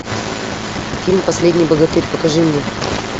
фильм последний богатырь покажи мне